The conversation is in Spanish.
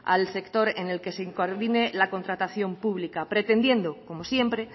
al sector en el que se coordine la contratación pública pretendiendo como siempre